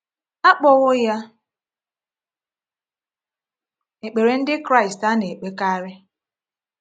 A kpọwo ya ekpere Ndị Kraịst a na-ekpekarị.